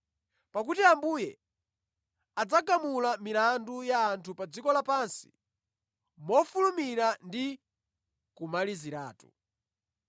Pakuti Ambuye adzagamula milandu ya anthu pa dziko lapansi mofulumira ndi kumaliziratu.”